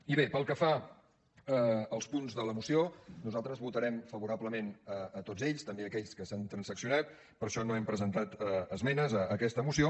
i bé pel que fa als punts de la moció nosaltres votarem favorablement a tots també a aquells que s’han transaccionat per això no hem presentat esmenes a aquesta moció